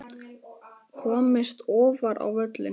Komist ofar á völlinn?